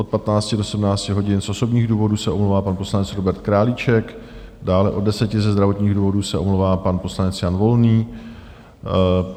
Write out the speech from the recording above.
Od 15.00 do 17.00 hodin z osobních důvodů se omlouvá pan poslanec Robert Králíček, dále od 10.00 ze zdravotních důvodů se omlouvá pan poslanec Jan Volný.